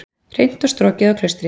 Hreint og strokið á Klaustri